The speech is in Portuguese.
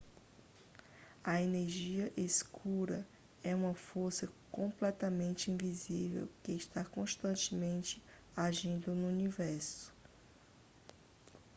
a energia escura é uma força completamente invisível que está constantemente agindo no universo